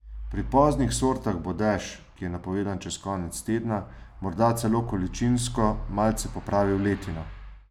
Pri poznih sortah bo dež, ki je napovedan čez konec tedna, morda celo količinsko malce popravil letino.